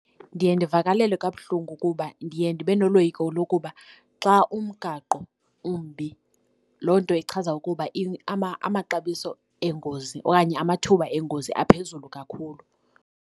Ndiye ndivakalelwe kabuhlungu kuba ndiye ndibe noloyiko lokuba xa umgaqo umbi loo nto ichaza ukuba amaxabiso engozi okanye amathuba engozi aphezulu kakhulu.